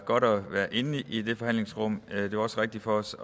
godt at være inde i det forhandlingsrum det var også rigtigt for os